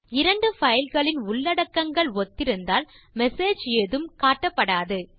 இரண்டு பைல் களின் உள்ளடக்கங்கள் ஒத்திருந்தால் மெசேஜ் ஏதும் காட்டப்படாது